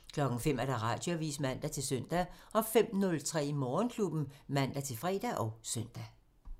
05:00: Radioavisen (man-søn) 05:03: Morgenklubben (man-fre og søn)